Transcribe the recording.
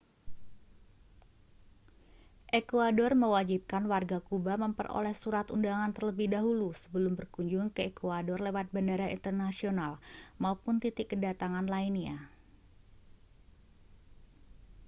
ekuador mewajibkan warga kuba memperoleh surat undangan terlebih dahulu sebelum berkunjung ke ekuador lewat bandara internasional maupun titik kedatangan lainnya